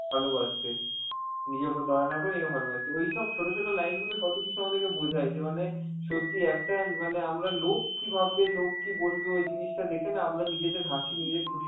ভালবাসতে, নিজের ওপর দয়া না করে নিজেকে ভালবাসতে, ওই সব ছোট ছোট line গুলো কত কিছু আমাদেরকে বোঝায় যে মানে সত্যিই একটা এন~ মানে আমরা লোক কি ভাববে, লোক কি বলবে ওই জিনিসটা দেখে না আমরা নিজেদের হাসি, নিজের খুশি